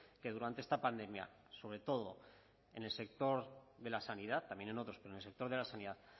que durante esta pandemia sobre todo en el sector de la sanidad también en otros pero en el sector de la sanidad